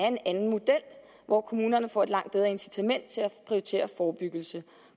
en anden model hvor kommunerne får et langt bedre incitament til at prioritere forebyggelse